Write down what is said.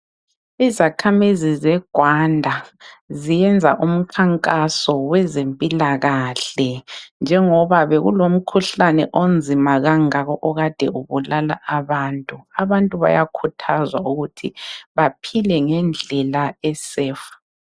Izakhamizi zeGwanda ziyenza umkhankaso wezempilakahle njengoba bekulomkhuhlane onzima kangaka okade ubulala abantu. Abantu bayakhuthazwa ukuba baphile ngendlela eseyifi.